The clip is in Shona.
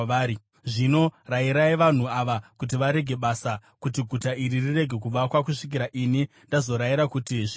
Zvino rayirai vanhu ava kuti varege basa, kuti guta iri rirege kuvakwa, kusvikira ini ndazorayira kuti zviitwe.